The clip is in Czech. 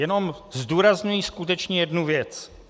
Jenom zdůrazňuji skutečně jednu věc.